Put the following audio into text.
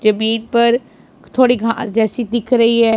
जमीन पर थोड़ी घास जैसी दिख रही है।